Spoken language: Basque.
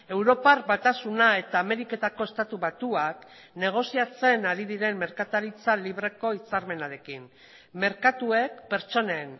europar batasuna eta ameriketako estatu batuak negoziatzen ari diren merkataritza libreko hitzarmenarekin merkatuek pertsonen